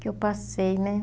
eu passei, né?